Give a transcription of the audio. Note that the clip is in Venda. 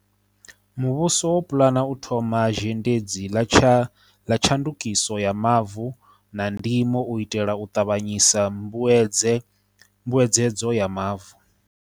Muvhuso wo pulana u thoma zhendedzi ḽa tsha ndukiso ya mavu na ndimo u itela u ṱavhanyisa mbuedze dzo ya mavu.